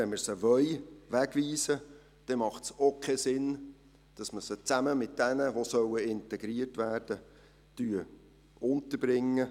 Wenn wir sie wegweisen wollen, macht es auch keinen Sinn, dass wir sie zusammen mit denjenigen unterbringen, die integriert werden sollen.